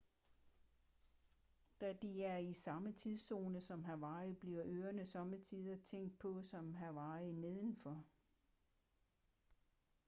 da de er i samme tidszone som hawaii bliver øerne sommetider tænkt på som hawaii nedenfor